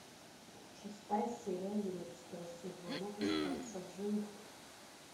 шестая серия одиннадцатого сезона остаться в живых